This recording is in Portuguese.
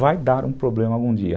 Vai dar um problema algum dia.